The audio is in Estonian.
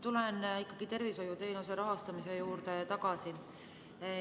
Tulen ikkagi tervishoiuteenuste rahastamise juurde tagasi.